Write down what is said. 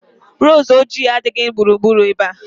Roozu ojii adighị na gburugburu ebe a